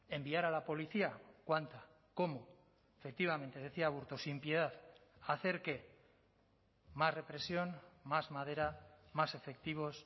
enviar a la policía cuánta cómo efectivamente decía aburto sin piedad hacer qué más represión más madera más efectivos